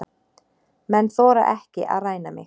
Menn þora ekki að ræna mig.